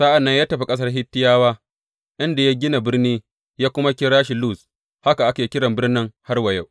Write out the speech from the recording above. Sa’an nan ya tafi ƙasar Hittiyawa, inda ya gina birni ya kuma kira shi Luz, haka ake kira birnin har wa yau.